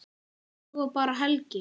Svo bar Helgi